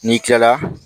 N'i kilala